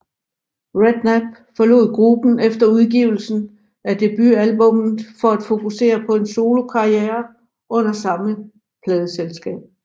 Redknapp forlod gruppen efter udgivelsen af debutalbummet for at fokusere på en solokarriere under samme pladeselskab